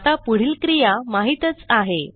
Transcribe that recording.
आता पुढील क्रिया माहीतच आहे